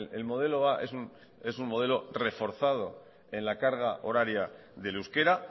el modelo a es un modelo reforzado en la carga horaria del euskera